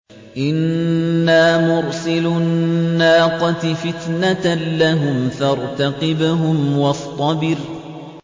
إِنَّا مُرْسِلُو النَّاقَةِ فِتْنَةً لَّهُمْ فَارْتَقِبْهُمْ وَاصْطَبِرْ